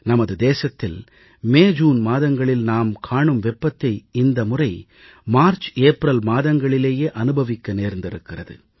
நமது தேசத்தில் மேஜூன் மாதங்களில் நாம் காணும் வெப்பத்தை இந்த முறை மார்ச்ஏப்ரல் மாதங்களிலேயே அனுபவிக்க நேர்ந்திருக்கிறது